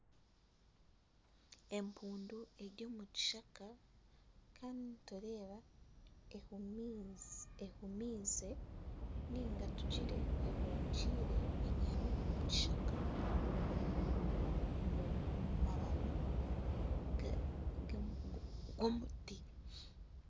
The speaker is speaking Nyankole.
Empundu eri omu kishaka kandi nitureeba ehumiize nainga tugire ehungire ebyami omu kishaka omu mababi g'omuti.